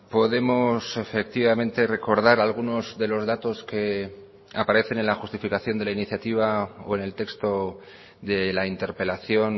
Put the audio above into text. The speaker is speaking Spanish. podemos efectivamente recordar algunos de los datos que aparecen en la justificación de la iniciativa o en el texto de la interpelación